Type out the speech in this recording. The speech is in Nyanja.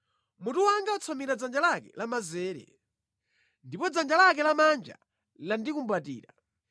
Mutu wanga watsamira dzanja lake lamanzere, ndipo dzanja lake lamanja landikumbatira.